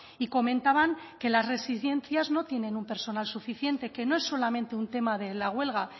y comentaban que las residencias no tienen un personal suficiente que no es solamente un tema de la huelga